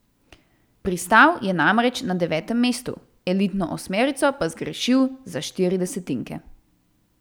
Pristal je namreč na devetem mestu, elitno osmerico pa zgrešil za štiri desetinke.